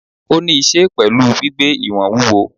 Ó ni íse pẹ̀lú gbígbé ìwọ̀n wúwo.